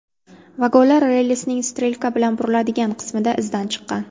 Vagonlar relsning strelka bilan buriladigan qismida izdan chiqqan.